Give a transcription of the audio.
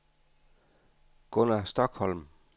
Gunnar Stokholm